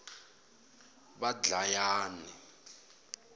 vadlayani